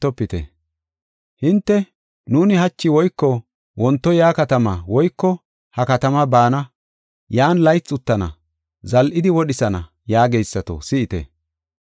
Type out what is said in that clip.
Hinte, “Nuuni hachi woyko wonto ya katamaa woyko ha katamaa baana; yan laythi uttana; zal7idi wodhisana” yaageysato, si7ite.